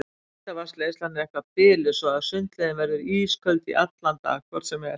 Heitavatnsleiðslan er eitthvað biluð svo að sundlaugin verður ísköld í allan dag hvort sem er.